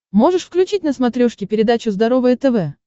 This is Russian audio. можешь включить на смотрешке передачу здоровое тв